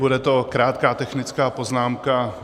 Bude to krátká technická poznámka.